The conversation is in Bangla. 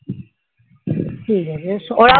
ঠিক আছে এসো